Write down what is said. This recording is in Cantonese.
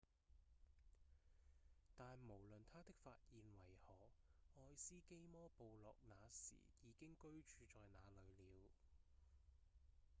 但無論他的發現為何愛斯基摩部落那時已經居住在那裡了